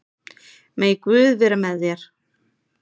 Megi Guð vera með þér.